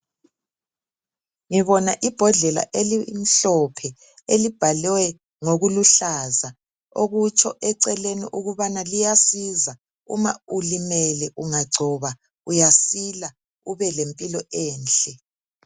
Ngibona ibhodlela elimhlophe elibhalwe ngokuluhlaza okutsho eceleni ukubana liyasiza uma ulimele ungagcoba uyasila ube lempilo enhle.